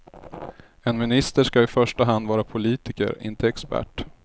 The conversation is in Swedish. En minister ska i första hand vara politiker, inte expert.